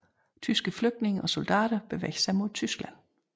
Tyske flygtninge og soldater bevæger sig mod Tyskland